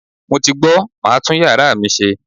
Mo ti gbọ̀, màá tún yàrá mi ṣe.